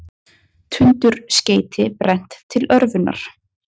Tundurskeyti brennt til örvunar